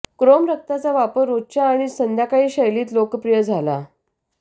Chrome रक्ताचा वापर रोजच्या आणि संध्याकाळी शैलीत लोकप्रिय झाला